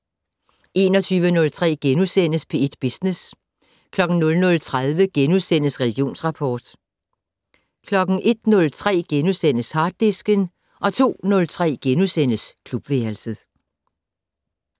21:03: P1 Business * 00:30: Religionsrapport * 01:03: Harddisken * 02:03: Klubværelset *